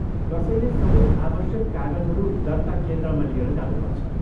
कसैले सबै आवश्यक कागजहरू दर्ता केन्द्रमा लिएर जानुपर्छ।